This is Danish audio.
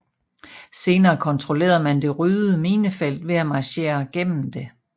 Senere kontrollerede man det ryddede minefelt ved at marchere gennem det